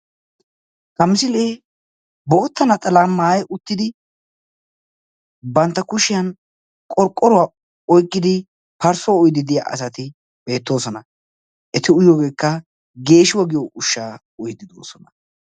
Ha misilee bootta naxalaa maayi uttidi bantta kushiyan qorqqoruwa oyqqidi parssuwa uyiiddi diya asati beettoosona. Eti uyiyogeekka geeshuwa giyo ushshaa uyiiddi doosona.